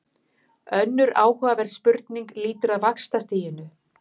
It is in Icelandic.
Önnur áhugaverð spurning lýtur að vaxtastiginu.